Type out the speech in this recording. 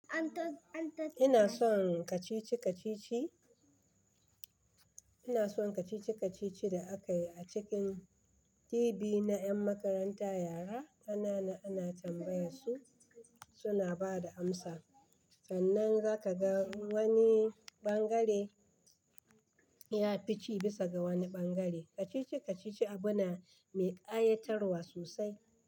Ina son kacici-kacici da akeyi a cikin TV na yan makaranta yara, ƙanana ana tambaya su suna bada amsa sannan zaka ga wani ɓangare ya fici bisa ga wani bangare. Kacici-kacici abu ne mai kayatarwa sosai.